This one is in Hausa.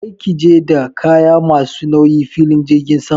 Kar ki je da kaya ma su nauyi filin jirgin sama!